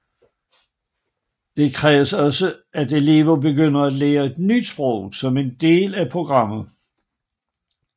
Det kræves også at elever begynder at lære et nyt sprog som en del af programmet